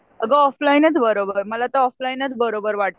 अगं ऑफलाईनच बरं मला तर ऑफलाईनच बरोबर वाटतं.